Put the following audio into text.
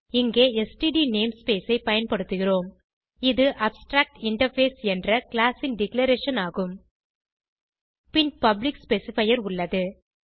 இங்கே std namespace ஐ பயன்படுத்துகிறோம் இது அப்ஸ்ட்ராக்டின்டர்ஃபேஸ் என்ற கிளாஸ் ன் டிக்ளரேஷன் ஆகும் பின் பப்ளிக் ஸ்பெசிஃபையர் உள்ளது